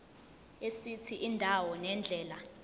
esithi indawo nendlela